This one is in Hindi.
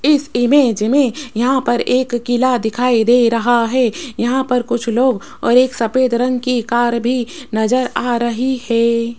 इस इमेज में यहां पर एक किला दिखाई दे रहा है यहां पर कुछ लोग और एक सफेद रंग की कार भी नजर आ रही है।